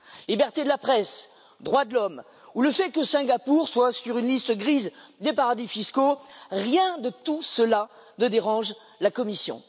Liberté de la presse, droits de l'homme ou le fait que Singapour soit sur une liste grise des paradis fiscaux, rien de tout cela ne dérange la Commission.